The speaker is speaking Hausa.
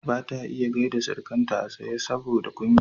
bata iya gyaida Sirikanta a tsaye saboda kunya